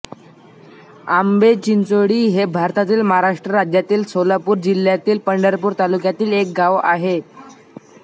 आंबेचिंचोळी हे भारतातील महाराष्ट्र राज्यातील सोलापूर जिल्ह्यातील पंढरपूर तालुक्यातील एक गाव आहे